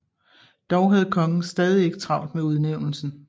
Dog havde kongen stadig ikke travlt med udnævnelsen